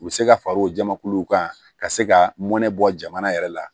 U bɛ se ka far'o jamakuluw kan ka se ka mɔnɛ bɔ jamana yɛrɛ la